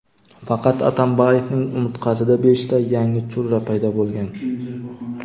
faqat Atamboyevning umurtqasida beshta yangi churra paydo bo‘lgan.